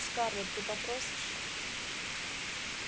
скарлетт ты попросишь